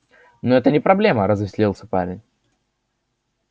ну это не проблема развеселился парень